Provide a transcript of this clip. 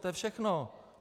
To je všechno!